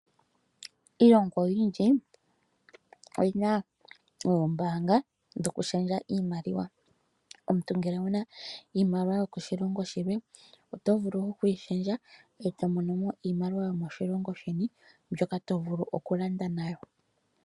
Iilongo oyindji oyina oombanga dhoku shendja iimaliwa, omuntu ngele owuna iimaliwa yo ko shilongo shilwe oto vulu okuyi shendja eto mono iimaliwa yomo shilongo sheni mbyoka tovulu oku landa nayo.